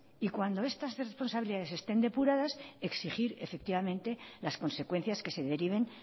y cuando estas responsabilidades estén depuradas exigir efectivamente las consecuencias que se deriven